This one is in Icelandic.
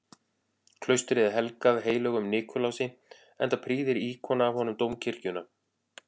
Klaustrið er helgað heilögum Nikulási, enda prýðir íkon af honum dómkirkjuna.